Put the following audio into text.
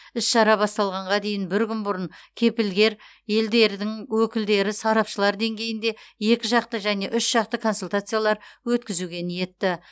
іс шара басталғанға дейін бір күн бұрын кепілгер елдердің өкілдері сарапшылар деңгейінде екі жақты және үш жақты консультациялар өткізуге ниетті